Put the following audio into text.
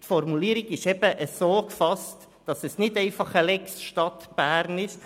Die Formulierung ist so gefasst, dass es nicht einfach eine Lex Stadt Bern ist.